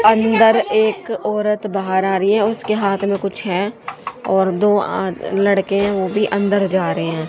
अंदर एक औरत बाहर आ रही है उसके हाथ में कुछ है और दो आद लड़के वो भी अंदर जा रहे हैं।